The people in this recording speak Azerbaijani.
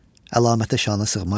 Əlamətə şanə sığmaram.